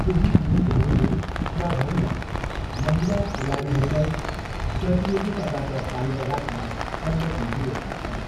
केही लिगहरूले क्लबहरूलाई महिला खेलाडीहरूलाई प्रतियोगिताबाट बाहिर राख्न अनुमति दिएका छन्।